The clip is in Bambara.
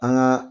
An ka